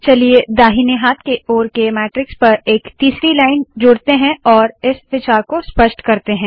चलिए दाहिने हाथ के ओर के मैट्रिक्स पर एक तीसरी लाइन जोड़ते है और इस विचार को स्पष्ट करते है